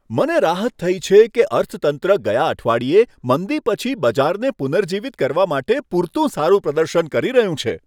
મને રાહત થઈ છે કે અર્થતંત્ર ગયા અઠવાડિયે મંદી પછી બજારને પુનર્જીવિત કરવા માટે પૂરતું સારું પ્રદર્શન કરી રહ્યું છે.